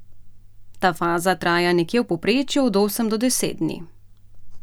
Ta faza traja nekje v povprečju od osem do deset dni.